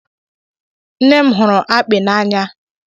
Nne m hụrụ akpị n'anya